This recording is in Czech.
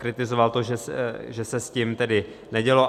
Kritizoval to, že se s tím tedy nedělo.